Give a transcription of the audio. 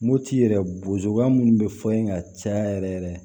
Moti yɛrɛ bozowa minnu bɛ fɔ in ka caya yɛrɛ yɛrɛ